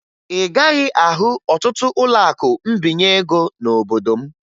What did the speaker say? Ị gaghị ahụ ọtụtụ ụlọakụ mbinye ego n'obodo m